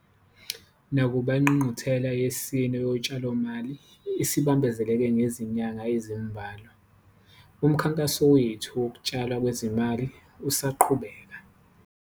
Nakuba iNgqungquthela yesine Yotshalomali isibambezeleke ngezinyanga ezimbalwa, umkhankaso wethu wokutshalwa kwezimali usaqhubeka.